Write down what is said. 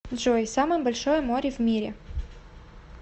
джой самое большое море в мире